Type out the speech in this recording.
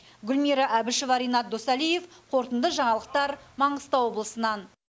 гүлмира әбішева ренат досалиев қорытынды жаңалықтар маңғыстау облысынан